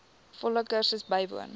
volle kursus bywoon